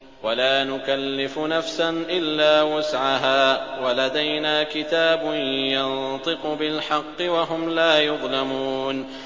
وَلَا نُكَلِّفُ نَفْسًا إِلَّا وُسْعَهَا ۖ وَلَدَيْنَا كِتَابٌ يَنطِقُ بِالْحَقِّ ۚ وَهُمْ لَا يُظْلَمُونَ